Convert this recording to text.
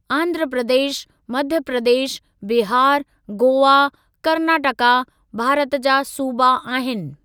आंध्र प्रदेश, मध्य प्रदेश, बिहार, गोआ, कर्नाटका भारत जा सूबा आहिनि।